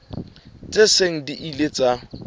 tse seng di ile tsa